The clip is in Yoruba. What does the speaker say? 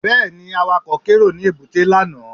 Bẹ́ẹ̀ni, Awakọ̀ kérò ní èbúté lánàá